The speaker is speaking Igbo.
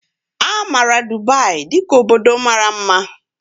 A maara Dubai dị ka obodo mara mma